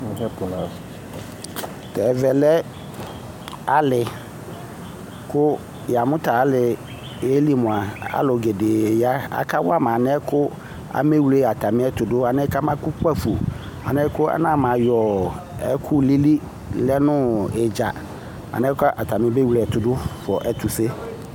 Ɛvɛ lɛ ali ku yamu taliɛli mua alugede aka wama alɛna yɛ amewle atamiɛtu du kama ku kpafo mɛ anama yɔ ɛkulili lɛ nu idza alɛna atani me wle ɛtudu fua ɛtuse